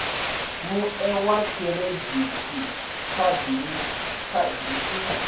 mue wa khiridithi khadi i